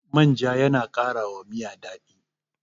manja yana ƙara wa Miya daɗi